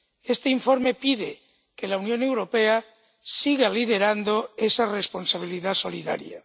Este informe pide que la Unión Europea siga liderando esa responsabilidad solidaria.